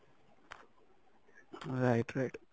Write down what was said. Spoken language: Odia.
right right